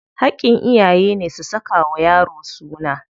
Haƙƙin iyayene su saka wa yaro suna.